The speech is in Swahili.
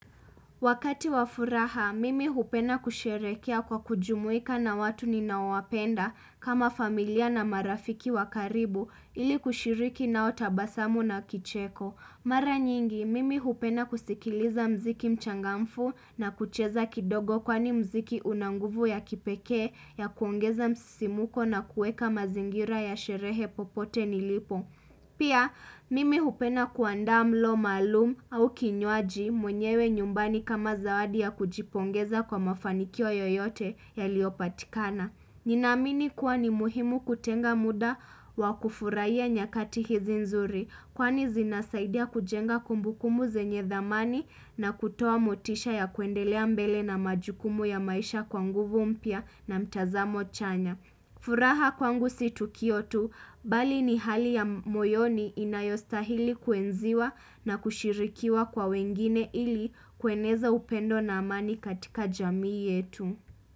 Wakati wa furaha, mimi hupenda kusherehekea kwa kujumuika na watu ninaowapenda kama familia na marafiki wakaribu ili kushiriki nao tabasamu na kicheko. Mara nyingi, mimi hupenda kusikiliza mziki mchangamfu na kucheza kidogo kwani mziki unanguvu ya kipekee ya kuongeza msisimuko na kuweka mazingira ya sherehe popote nilipo. Pia mimi hupenda kuandaa mlo maalum au kinywaji mwenyewe nyumbani kama zawadi ya kujipongeza kwa mafanikio yoyote ya liopatikana. Ninaamini kuwa ni muhimu kutenga muda wa kufurahia nyakati hizi nzuri kwani zinasaidia kujenga kumbukumu zenye dhamani na kutoa motisha ya kuendelea mbele na majukumu ya maisha kwanguvu mpya na mtazamo chanya. Furaha kwangu si Tukiotu, bali ni hali ya moyoni inayostahili kuenziwa na kushirikiwa kwa wengine ili kueneza upendo na amani katika jamii yetu.